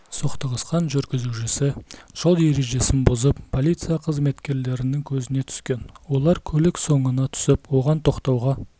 соқтығысқан жүргізушісі жол ережесін бұзып полиция қызметкерлерінің көзіне түскен олар көлік соңына түсіп оған тоқтауға